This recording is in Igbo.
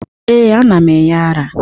Ee, ana m enye m ara.